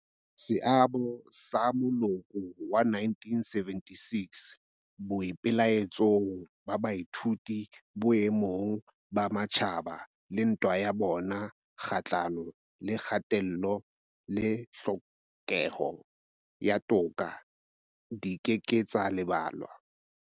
Seabo sa moloko wa 1976 boipelaetsong ba baithuti boemong ba matjhaba le ntwa ya bona kgahlano le kgatello le tlhokeho ya toka di ke ke tsa lebalwa.